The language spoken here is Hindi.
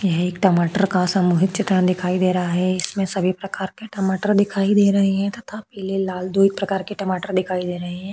यह एक टमाटर का सामूहिक चित्रण दिखाई दे रहा है इसमें सभी प्रकार के टमाटर दिखाई दे रहे है तथा पीले लाल दो एक प्रकार के टमाटर दिखाई दे रहे है।